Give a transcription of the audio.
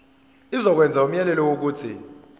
izokwenza umyalelo wokuthi